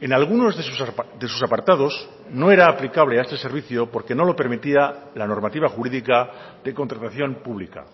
en algunos de sus apartados no era aplicable a este servicio porque no lo permitía la normativa jurídica de contratación pública